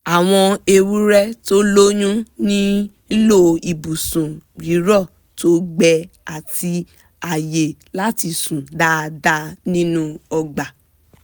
àwọn ewúrẹ́ tó lóyún nílò ibùsùn rírọ̀ tó gbẹ àti àyè láti sùn dáadáa nínú ọgbà